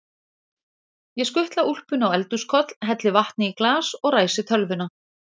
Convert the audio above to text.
Ég skutla úlpunni á eldhúskoll, helli vatni í glas og ræsi tölvuna.